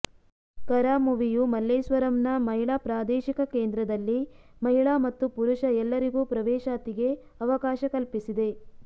ಕರಾಮುವಿಯು ಮಲ್ಲೇಶ್ವರಂನ ಮಹಿಳಾ ಪ್ರಾದೇಶಿಕ ಕೇಂದ್ರದಲ್ಲಿ ಮಹಿಳಾ ಮತ್ತು ಪುರುಷ ಎಲ್ಲರಿಗೂ ಪ್ರವೇಶಾತಿಗೆ ಅವಕಾಶ ಕಲ್ಪಿಸಿದೆ